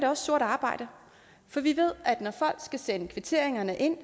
også sort arbejde for vi ved at det at folk skal sende kvitteringerne ind